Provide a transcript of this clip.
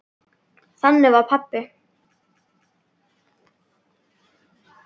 Þannig var pabbi.